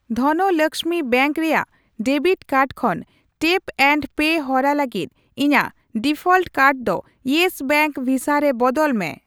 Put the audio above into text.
Dhanlaxmi bank ᱨᱮᱭᱟᱜ debit card ᱠᱷᱚᱱ tap and pay ᱦᱚᱨᱟ ᱞᱟᱹᱜᱤᱫ ᱤᱧᱟ.ᱜ ᱰᱤᱯᱷᱚᱞᱴ ᱠᱟᱨᱰ ᱫᱚ ᱤᱭᱮᱥ ᱵᱮᱝᱠ ᱵᱷᱤᱥᱟ ᱨᱮ ᱵᱚᱫᱚᱞ ᱢᱮ ᱾